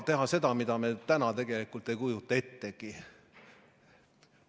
Teha seda, mida me täna tegelikult ei kujuta ettegi.